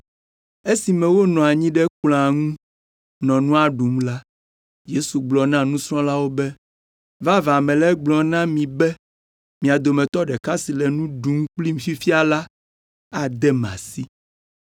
Esime wonɔ anyi ɖe kplɔ̃a ŋu nɔ nua ɖum la, Yesu gblɔ na nusrɔ̃lawo be, “Vavã mele egblɔm na mi be mia dometɔ ɖeka si le nu ɖum kplim fifia la adem asi.”